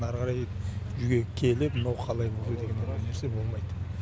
ары қарай үйге келіп мынау қалай болды деген ондай нәрсе болмайды